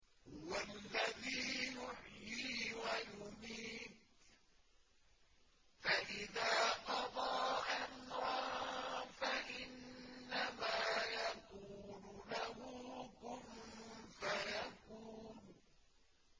هُوَ الَّذِي يُحْيِي وَيُمِيتُ ۖ فَإِذَا قَضَىٰ أَمْرًا فَإِنَّمَا يَقُولُ لَهُ كُن فَيَكُونُ